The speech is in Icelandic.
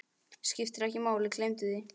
Skiptir ekki máli, gleymdu því.